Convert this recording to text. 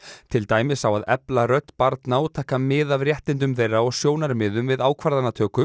til dæmis á að efla rödd barna og taka mið af réttindum þeirra og sjónarmiðum við ákvarðanatöku